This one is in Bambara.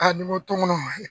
nin man to n kɔnɔ